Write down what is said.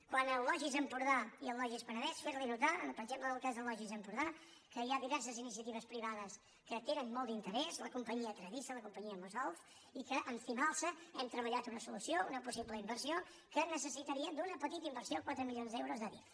quant al logis empordà i al logis penedès fer li notar per exemple en el cas del logis empordà que hi ha diverses iniciatives privades que hi tenen molt d’interès la companyia tradisa la companyia mosolf i que amb cimalsa hem treballat una solució una possible inversió que necessitaria una petita inversió quatre milions d’euros d’adif